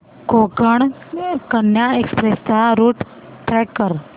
Konkan Kanya express चा route track कर